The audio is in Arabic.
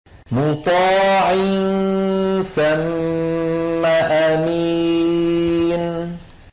مُّطَاعٍ ثَمَّ أَمِينٍ